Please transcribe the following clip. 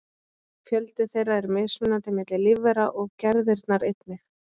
Fjöldi þeirra er mismunandi milli lífvera og gerðirnar einnig.